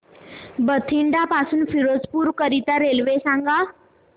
बठिंडा पासून फिरोजपुर करीता रेल्वे सांगा